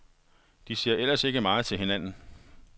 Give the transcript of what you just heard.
De ser ellers ikke meget til hinanden.